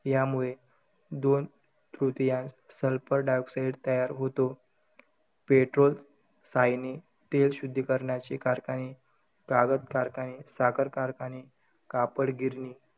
यामुळे दोन तृतीयांश sulphur dioxide तयार होतो. पेट्रोलसायने, तेलशुध्दीकरणाचे कारखाने, कागद कारखाने, साखर कारखाने, कापड गिरणी,